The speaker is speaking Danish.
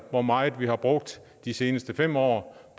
hvor meget vi har brugt de seneste fem år